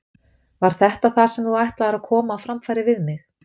Var þetta það sem þú ætlaðir að koma á framfæri við mig?